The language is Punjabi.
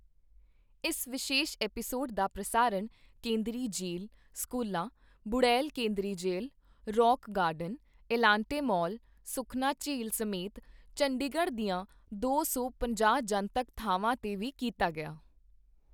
ਇਸ ਵਿਸ਼ੇਸ਼ ਐਪੀਸੋਡ ਦਾ ਪ੍ਰਸਾਰਣ ਕੇਂਦਰੀ ਜੇਲ੍ਹ, ਸਕੂਲਾਂ, ਬੁੜੈਲ ਕੇਂਦਰੀ ਜੇਲ੍ਹ, rock garden, Elante mall, Sukhna ਝੀਲ ਸਮੇਤ ਚੰਡੀਗੜ੍ਹ ਦੀਆਂ ਦੋ ਸੌ ਪੰਜਾਹ ਜਨਤਕ ਥਾਵਾਂ ਤੇ ਵੀ ਕੀਤਾ ਗਿਆ।